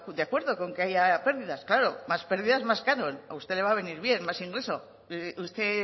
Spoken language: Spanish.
de acuerdo con que haya pérdidas claro más perdidas más canon a usted le va a venir bien más ingreso usted